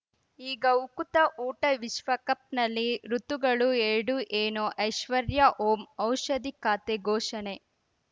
ಈಗ ಉಕುತ ಊಟ ವಿಶ್ವಕಪ್‌ನಲ್ಲಿ ಋತುಗಳು ಎರಡು ಏನು ಐಶ್ವರ್ಯಾ ಓಂ ಔಷಧಿ ಖಾತೆ ಘೋಷಣೆ